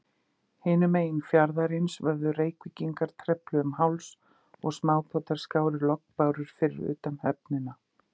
Hinum megin fjarðarins vöfðu Reykvíkingar trefli um háls, og smábátar skáru lognbárur fyrir utan höfnina.